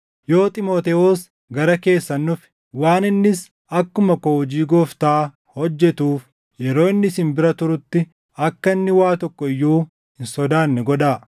Yoo Xiimotewos gara keessan dhufe waan innis akkuma koo hojii Gooftaa hojjetuuf yeroo inni isin bira turutti akka inni waa tokko iyyuu hin sodaanne godhaa.